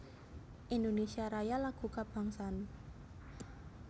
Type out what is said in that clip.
Indonesia Raya lagu kabangsan